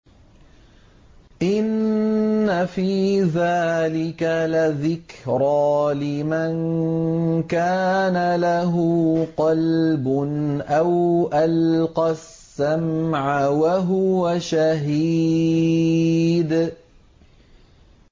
إِنَّ فِي ذَٰلِكَ لَذِكْرَىٰ لِمَن كَانَ لَهُ قَلْبٌ أَوْ أَلْقَى السَّمْعَ وَهُوَ شَهِيدٌ